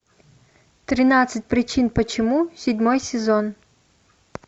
тринадцать причин почему седьмой сезон